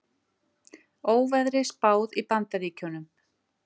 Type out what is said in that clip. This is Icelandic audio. Óveðri spáð í Bandaríkjunum